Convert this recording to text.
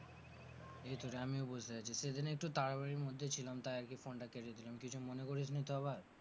এই তো রে আমিও বসে আছি। সেদিনে একটু তাড়াতাড়ির মধ্যে ছিলাম তাই আরকি phone টা কেটে দিলাম, কিছু মনে করিসনি তো আবার?